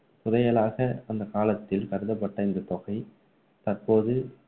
புதையலாக அந்த காலத்தில் கருதப்பட்ட இந்த தொகை தற்போது